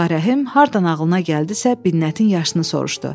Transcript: Ağa Rəhim hardan ağlına gəldisə Binnətin yaşını soruşdu.